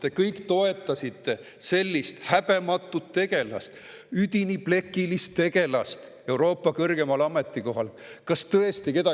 Te kõik toetasite sellist häbematut ja üdini plekilist tegelast Euroopa kõrgemale ametikohale.